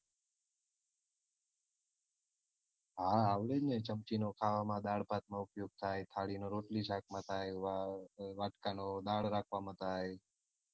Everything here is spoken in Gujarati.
હા આવડે જ ને ચમચી નો ખાવામાં દાળ ભાત માં ઉપયોગ થાય થાળી નો રોટલી શાક માં થાય વા વાટકા નો દાળ રાખવા માં થાય.